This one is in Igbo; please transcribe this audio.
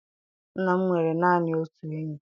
Nna m nwere naanị otu enyi.